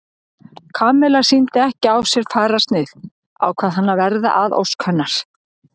Kamilla sýndi ekki á sér fararsnið ákvað hann að verða að ósk hennar.